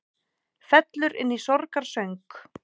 Fellur inn í sorgarsöng